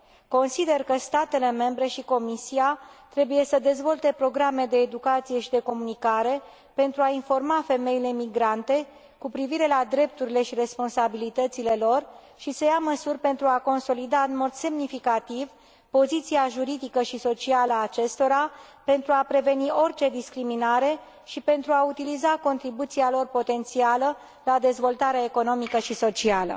Consider că statele membre și Comisia trebuie să dezvolte programe de educație și de comunicare, pentru a informa femeile migrante cu privire la drepturile și responsabilitățile lor și să ia măsuri pentru a consolida în mod semnificativ poziția juridică și socială a acestora, pentru a preveni orice discriminare și pentru a utiliza contribuția lor potențială la dezvoltarea economică și socială.